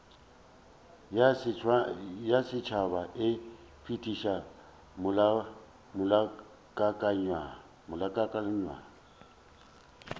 ya setšhaba e fetiša molaokakanywa